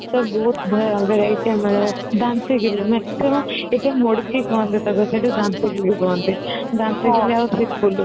ସବୁ ବହୁତ ଅଲଗ variety ର ମିଳେ maximum ଏଇଟା ମୁଡକି କୁହନ୍ତି କୁହନ୍ତି